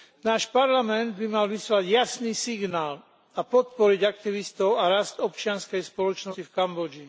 Náš parlament by mal vyslať jasný signál a podporiť aktivistov a rast občianskej spoločnosti v Kambodži.